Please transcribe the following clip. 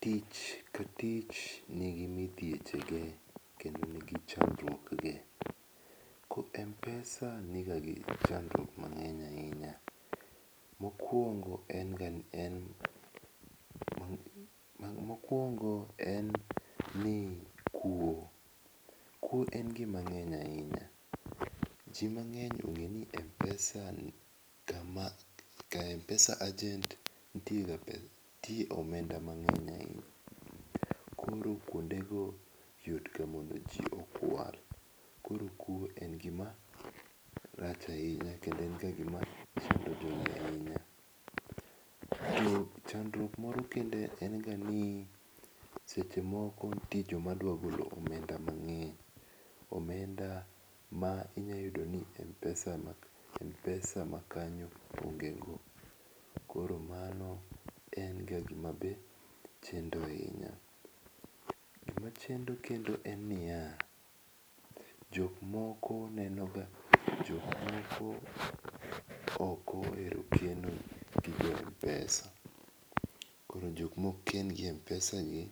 Tich ka tich ni gi midhiepe ge kendo ni chandruok ge. Ko mpesa ni ga gi chandruok mangeny ahinya ,mokuongo en ga en, mokuongo en ni kwo. Kwo en gi mangeny ahinya. Ji mangeny ong'eyo ni mpesa ni kama ka mpesa agent tiie ga gi nitie ga omenda mangeny ahinya. Koro kuonde gi yot ga modo ji okwal. koro kwo en ga gi marach ahinya kendo en ga gi ma chando jo to chandruok moro kendo en ga ni seche moko nitie jo ma dwa golo omenda mangeny, omenda mi inya yudo ni mpesa ma kanyo oneg go. Koro ano en ga gi ma be chendo ahinya. Gi ma chendo kendo en ni ya, jok moko neno ga jo moko ok ohero keno gi mpesa. Koro jok ma ok ken gi mpesa gi,